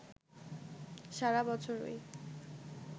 সারা বছরই